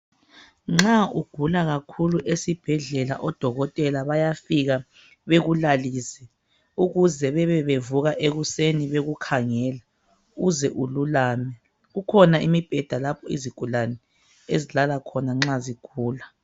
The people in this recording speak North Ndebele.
nxa ugula kakhulu esibhedlela odokotela bayafika bekulalise ukuze bebebevuka ekuseni bekukhangela uze ululame kukhona imibheda lapho izigulane ezilala khona nxa zigula